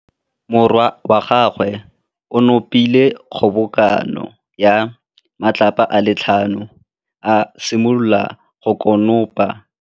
Morwa wa gagwe o nopile kgobokanô ya matlapa a le tlhano, a simolola go konopa.